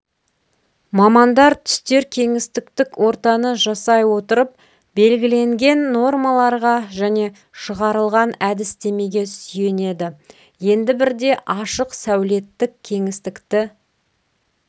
мамандар түстер кеңістіктік ортаны жасай отырып белгіленген нормаларға және шығарылған әдістемеге сүйенеді енді бірде ашық сәулеттік кеңістікті